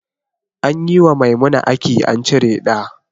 Anyi wa Maimuna aki an cire ɗa